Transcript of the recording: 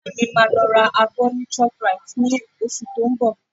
Ìyá mi máa lọ ra abọ ní Shoprite lóṣù tó ń bọ̀